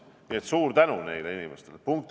Nii et suur tänu nendele inimestele!